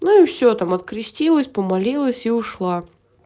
ну и всё там открестилась помолилась и ушла